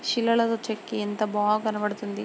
శిలలాగా చెక్కి ఎంత బా కనబడుతుంది.